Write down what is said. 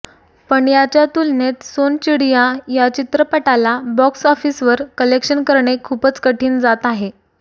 पण याच्या तुलनेत सोनचिडिया या चित्रपटाला बॉक्स ऑफिसवर कलेक्शन करणे खूपच कठीण जात आहे